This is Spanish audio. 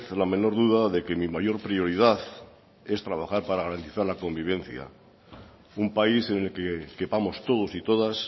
la menor duda de que mi mayor prioridad es trabajar para garantizar la convivencia un país en el que quepamos todos y todas